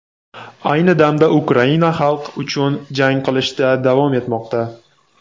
Ayni damda Ukraina xalq uchun jang qilishda davom etmoqda.